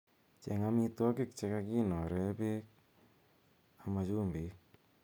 Cheeng' amitwogiik chega kinoree beek ama chumbiik.